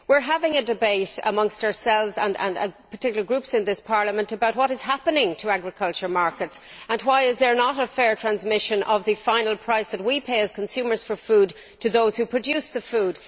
We are having a debate among ourselves, and in particular groups in this Parliament, about what is happening to the agricultural markets and why there is not fair transmission of the final price that we, as consumers, pay for food to those who produce the food.